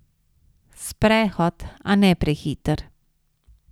Sprehod, a ne prehiter.